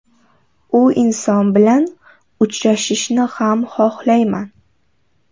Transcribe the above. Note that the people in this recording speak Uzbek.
U inson bilan uchrashishni ham xohlamayman.